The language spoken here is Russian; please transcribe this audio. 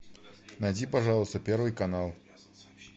найди пожалуйста первый канал